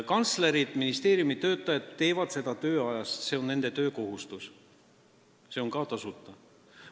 Kantslerid, ministeeriumitöötajad teevad seda tööd oma tööajast, see on nende töökohustus, see toimub ka tasuta.